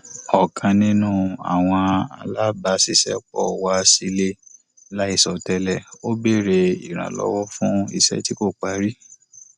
ọkan nínú àwọn alábàṣiṣẹpọ wá sílé láìsọ tẹlè ó béèrè ìrànlọwọ fún iṣẹ tí kò parí